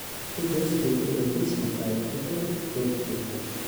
i tus dib u eegis makhaayad u dhow goobtayda